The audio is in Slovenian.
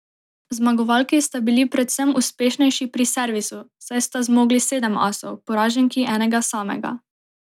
Zmagovalki sta bili predvsem uspešnejši pri servisu, saj sta zmogli sedem asov, poraženki enega samega.